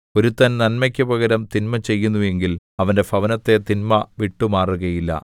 ഒരുത്തൻ നന്മയ്ക്കു പകരം തിന്മ ചെയ്യുന്നു എങ്കിൽ അവന്റെ ഭവനത്തെ തിന്മ വിട്ടുമാറുകയില്ല